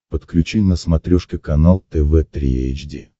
подключи на смотрешке канал тв три эйч ди